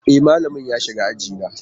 E, malamin ya shiga aji na.